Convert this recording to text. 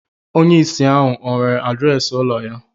Onye ìsì ahu ọ̀ nwere adreesị ụlọ ya